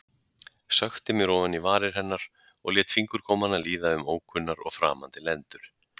Sökkti mér ofan í varir hennar og lét fingurgómana líða um ókunnar og framandi lendur.